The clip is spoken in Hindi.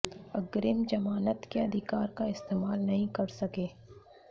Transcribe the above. अग्रिम जमानत के अधिकार का इस्तेमाल नहीं कर सके